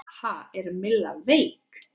Ha, er Milla veik?